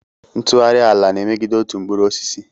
Ntughari ala na-emegide otu mkpụrụ osisi.